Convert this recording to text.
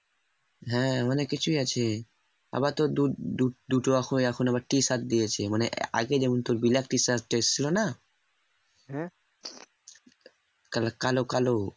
হ্যাঁ অনেক কিছু আছে আবার তোর দু~দু ~দুটো হয়ে আবার দিয়েছে কা ~কাল কালো।